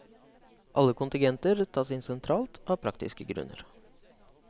Alle kontingenter tas inn sentralt av praktiske grunner.